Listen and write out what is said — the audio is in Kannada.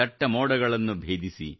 ದಟ್ಟ ಮೋಡಗಳನ್ನು ಭೇದಿಸಿ